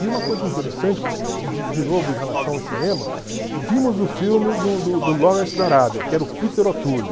E uma coisa interessante, de de novo, em relação ao cinema, vimos o filme do do do Lawrence Darabia, que era o Peter O'Toole.